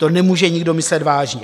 To nemůže nikdo myslet vážně.